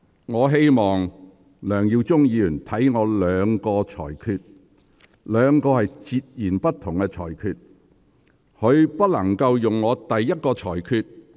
我希望梁議員細看我的兩項裁決，該兩項裁決是截然不同的。